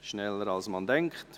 Schneller als man denkt!